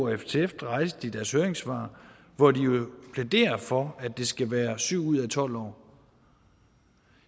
ftf rejste i deres høringssvar hvor de jo plæderer for at det skal være syv ud af tolv år